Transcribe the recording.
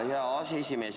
Tänan, hea aseesimees!